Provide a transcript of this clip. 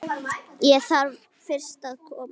Ég þarf fyrst að koma